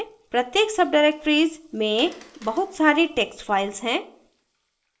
प्रत्येक सबडाइरेक्टरीज में बहुत सारी text files हैं